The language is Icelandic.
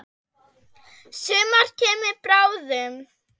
Sumar kemur bráðum.